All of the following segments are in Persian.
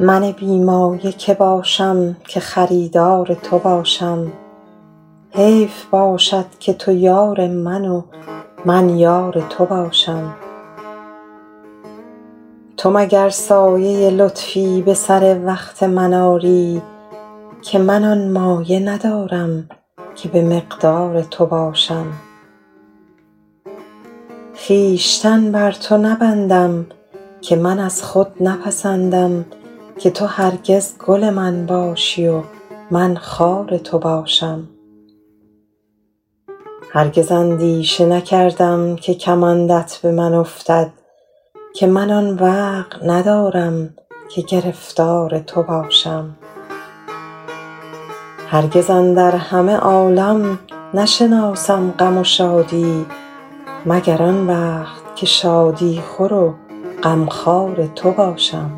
من بی مایه که باشم که خریدار تو باشم حیف باشد که تو یار من و من یار تو باشم تو مگر سایه لطفی به سر وقت من آری که من آن مایه ندارم که به مقدار تو باشم خویشتن بر تو نبندم که من از خود نپسندم که تو هرگز گل من باشی و من خار تو باشم هرگز اندیشه نکردم که کمندت به من افتد که من آن وقع ندارم که گرفتار تو باشم هرگز اندر همه عالم نشناسم غم و شادی مگر آن وقت که شادی خور و غمخوار تو باشم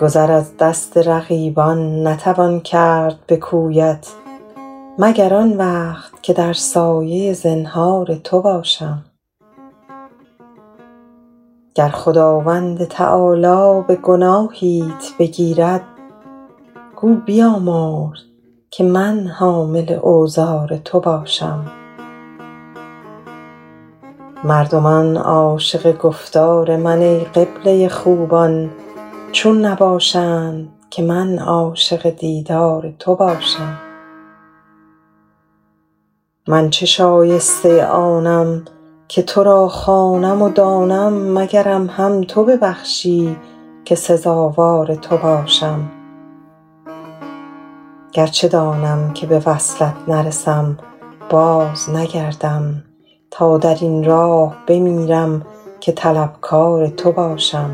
گذر از دست رقیبان نتوان کرد به کویت مگر آن وقت که در سایه زنهار تو باشم گر خداوند تعالی به گناهیت بگیرد گو بیامرز که من حامل اوزار تو باشم مردمان عاشق گفتار من ای قبله خوبان چون نباشند که من عاشق دیدار تو باشم من چه شایسته آنم که تو را خوانم و دانم مگرم هم تو ببخشی که سزاوار تو باشم گرچه دانم که به وصلت نرسم بازنگردم تا در این راه بمیرم که طلبکار تو باشم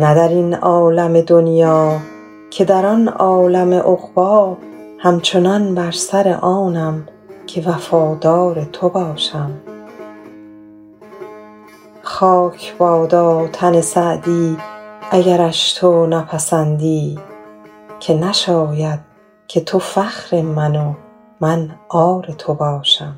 نه در این عالم دنیا که در آن عالم عقبی همچنان بر سر آنم که وفادار تو باشم خاک بادا تن سعدی اگرش تو نپسندی که نشاید که تو فخر من و من عار تو باشم